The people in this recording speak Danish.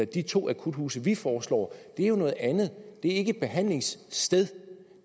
de to akuthuse som vi foreslår er jo noget andet det er ikke et behandlingssted